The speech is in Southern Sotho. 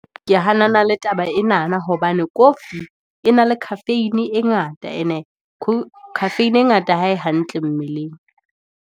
Ke hanana le taba enana, hobane coffee e na le khafeine e ngata, e ne khafeine e ngata ha e hantle mmeleng.